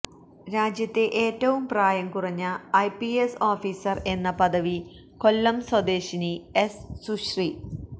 രാജ്യത്തെ ഏറ്റവും പ്രായം കുറഞ്ഞ ഐപിഎസ് ഓഫീസർ എന്ന പദവി കൊല്ലം സ്വദേശിനി എസ് സുശ്രീ